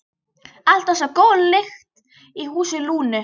Alltaf svo góð lyktin í húsi Lúnu.